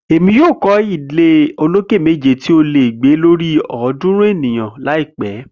Emi yoo kọ ile oloke meji ti o le gbe lori ọdunrun eniyan laipẹ.